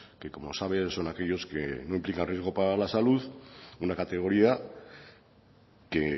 que como sabe son aquellos que no implican riesgo para la salud una categoría que